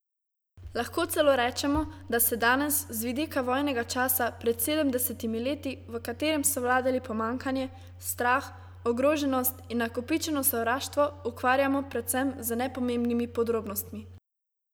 Lahko celo rečemo, da se danes, z vidika vojnega časa pred sedemdesetimi leti, v katerem so vladali pomanjkanje, strah, ogroženost in nakopičeno sovraštvo, ukvarjamo predvsem z nepomembnimi podrobnostmi.